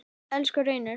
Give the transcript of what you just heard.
Elsku Reynir.